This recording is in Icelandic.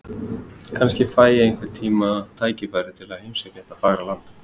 Kannski fæ ég einhvern tíma tækifæri til að heimsækja þetta fagra land.